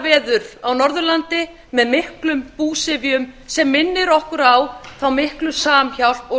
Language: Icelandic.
yfir hamfaraveður á norðurlandi með miklum búsifjum sem minnir okkur á þá miklu samhjálp og